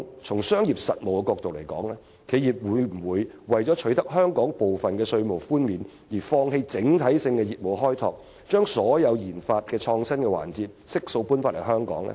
從商業實務角度而言，企業會否為了取得香港部分的稅務寬免，放棄整體的業務開拓，把所有研發創新的環節悉數搬回香港呢？